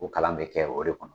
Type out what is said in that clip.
Ko kalan bɛ kɛ o de kɔnɔ